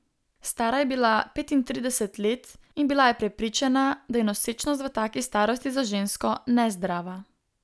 Stara je bila petintrideset let in bila je prepričana, da je nosečnost v taki starosti za žensko nezdrava.